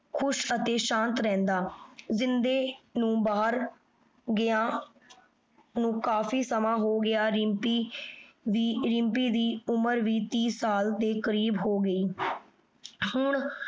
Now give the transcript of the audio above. ਖੁਸ਼ ਅਤੀ ਸ਼ਾਂਤ ਰਹੰਦਾ ਜਿੰਦੇ ਨੂ ਬਹਿਰ ਗਾਯਨ ਨੂ ਕਾਫੀ ਸਮਾਂ ਹੋਗਯਾ ਰਿਮ੍ਪੀ ਦੀ ਉਮਰ ਵੀ ਟੀ ਸਾਲ ਹੋਗੀ ਹਨ